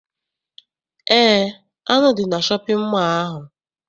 Eé, anụ dị na shọpịn mọọ ahụ.